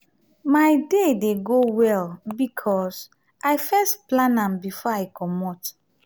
my day dey go well because i first plan am before i comot.